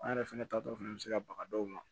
An yɛrɛ fɛnɛ taatɔ fana bɛ se ka baga dɔw